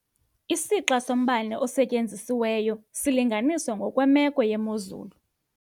Isixa sombane osetyenzisiweyo silinganiswa ngokwemeko yemozulu.